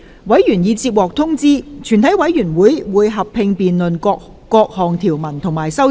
委員已獲通知，全體委員會會合併辯論各項條文及修正案。